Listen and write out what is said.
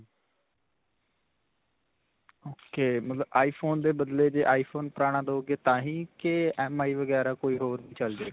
ok. ਮਤਲਬ iphone ਦੇ ਬਦਲੇ ਜੇ iphone ਪੁਰਾਣਾ ਦਵੋਗੇ ਤਾਂਹੀ ਕਿ MI ਵਗੈਰਾ ਕੋਈ ਹੋਰ ਚਲ ਜਾਵੇਗਾ.